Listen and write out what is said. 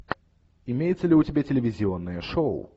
имеется ли у тебя телевизионное шоу